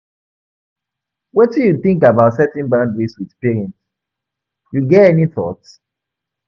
wetin you think about setting boundaries with parents, you get any thought?